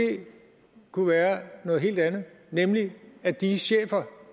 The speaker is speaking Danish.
kunne være noget helt andet nemlig at de chefer